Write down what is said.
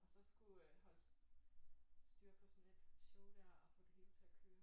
Og så skulle holde styr på sådan et show der og få det hele til at køre